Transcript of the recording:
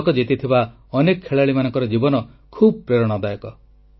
ପଦକ ଜିତିଥିବା ଅନେକ ଖେଳାଳିମାନଙ୍କର ଜୀବନ ଖୁବ୍ ପ୍ରେରଣା ଦାୟକ